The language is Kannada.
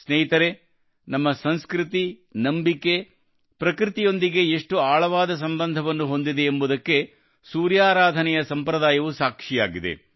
ಸ್ನೇಹಿತರೇ ನಮ್ಮ ಸಂಸ್ಕೃತಿ ನಂಬಿಕೆ ಪ್ರಕೃತಿಯೊಂದಿಗೆ ಎಷ್ಟು ಆಳವಾದ ಸಂಬಂಧವನ್ನು ಹೊಂದಿದೆ ಎಂಬುದಕ್ಕೆ ಸೂರ್ಯ ಆರಾಧನೆಯ ಸಂಪ್ರದಾಯ ಸಾಕ್ಷಿಯಾಗಿದೆ